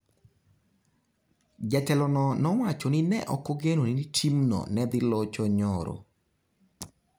Jatelono nowacho ni ne ok ogeno ni timno ne dhi locho nyoro.